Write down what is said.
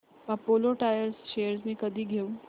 Apollo tyres shares मी कधी घेऊ